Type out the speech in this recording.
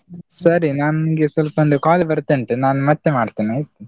ಸರಿ ನಾನು ನಿಮ್ಗೆ ಸ್ವಲ್ಪ ಒಂದು call ಬರ್ತಾ ಉಂಟು, ನಾನ್ ಮತ್ತೆ ಮಾಡ್ತೇನೆ ಆಯ್ತಾ?